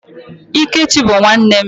Ikechi bụ nwanne m.